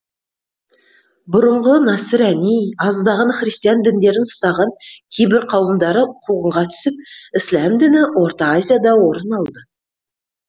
бұрынғы насыр әни аздаған христиан діндерін ұстаған кейбір қауымдары қуғынға түсіп ісләм діні орта азияда орын алды